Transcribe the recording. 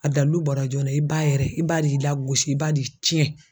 A dalilu bɔra jɔn na i b'a yɛrɛ i b'a de y'i lagosi i b'a de y'i tiɲɛ